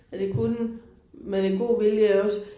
Ja det kunne med lidt god vilje jo også